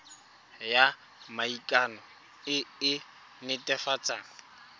ya maikano e e netefatsang